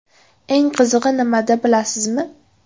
Eng qizig‘i nimada, bilasizmi?